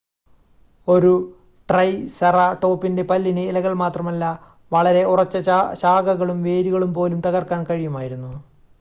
ഒരു ട്രൈസെറാടോപ്പിൻ്റെ പല്ലിന് ഇലകൾ മാത്രമല്ല വളരെ ഉറച്ച ശാഖകളും വേരുകളും പോലും തകർക്കാൻ കഴിയുമായിരുന്നു